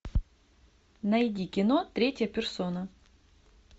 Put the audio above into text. найди кино третья персона